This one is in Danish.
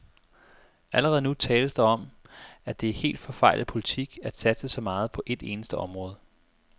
Allerede nu tales der om, at det er helt forfejlet politik at satse så meget på et eneste område.